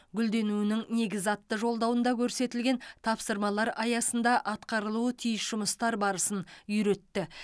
гүлденуінің негізі атты жолдауында көрсетілген тапсырмалар аясында атқарылуы тиіс жұмыстар барысын үйретті